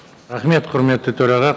рахмет құрметті төраға